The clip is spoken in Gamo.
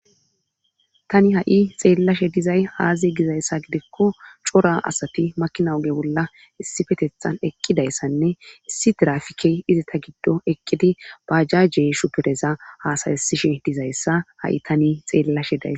tani ha7i xeellashe dizay aaziy gizayssa gidekko cora asati makinawuge bolla issifetethan eqqidayssanne issi diraafikey izi ta giddo eqqidi bajjajje shupereza haasayesishi dizayssa ha7i tani xeellashe daysa